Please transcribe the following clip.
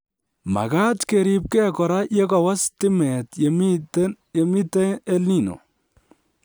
Makaat keribke kora yekowo stimet yomitei EL Nino